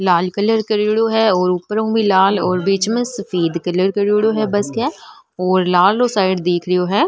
लाल colour करेड़ो है और ऊपर में भी लाल और बिच में सफ़ेद कलर करेड़ो है बस के और लाल रो साइड दिख रो है।